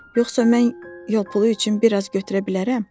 Yoxsa mən yol pulu üçün biraz götürə bilərəm?